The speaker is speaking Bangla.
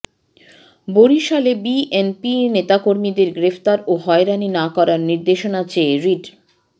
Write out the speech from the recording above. বরিশালে বিএনপি নেতাকর্মীদের গ্রেফতার ও হয়রানি না করার নির্দেশনা চেয়ে রিট